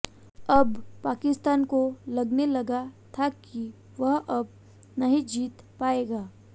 अब पाकिस्तान को लगने लगा था कि वह अब नहीं जीत पाएगा